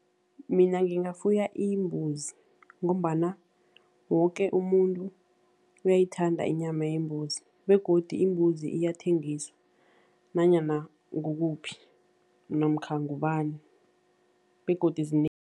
Mina ngingafuya imbuzi ngombana woke umuntu uyayithanda inyama yembuzi begodu imbuzi iyathengiswa nanyana kukuphi namkha ngubani begodu